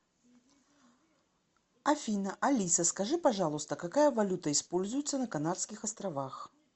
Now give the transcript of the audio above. афина алиса скажи пожалуйста какая валюта используется на канарских островах